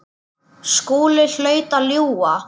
Skúli hlaut að ljúga.